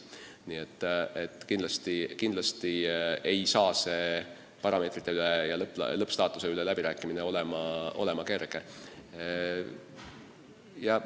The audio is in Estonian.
Nii et kindlasti ei saa see parameetrite ja lõppstaatuse üle läbirääkimine kerge olema.